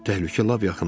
Təhlükə lap yaxında idi.